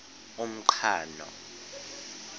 umqhano